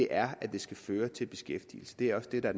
er at de skal føre til beskæftigelse det er også det der